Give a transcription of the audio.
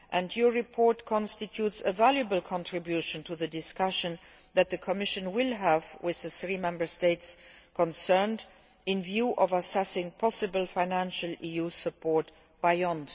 Parliament's report constitutes a valuable contribution to the discussion that the Commission will have with the three Member States concerned in view of assessing possible financial EU support beyond